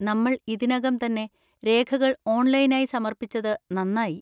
നമ്മൾ ഇതിനകം തന്നെ രേഖകൾ ഓൺലൈനായി സമർപ്പിച്ചത് നന്നായി.